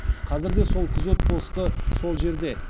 қазір де сол күзет посты сол жерде